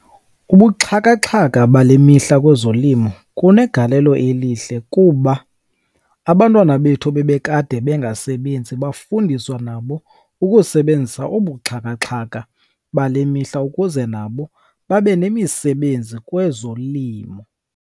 Ubuxhakaxhaka bale mihla kwezolimo kunegalelo elihle, kuba abantwana bethu bebekade bengasebenzi bafundiswa nabo ukusebenzisa obu buxhakaxhaka bale mihla ukuze nabo babe nemisebenzi kwezolimo.